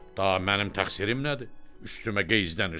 Daha mənim təqsirim nədir, üstümə qeyzdənirsən?